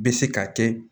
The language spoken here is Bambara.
Bɛ se k'a kɛ